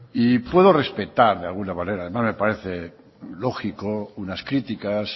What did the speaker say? y puedo respetar de alguna manera no me parece lógico unas críticas